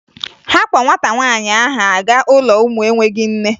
Ha kpọ nwata nwaanyị ahụ aga ụlọ ụmụ enweghi nne